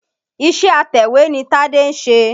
Iṣé atẹ̀wé ni Tádé ń ṣe.